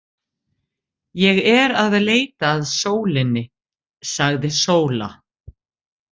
Ég er að leita að sólinni, sagði Sóla.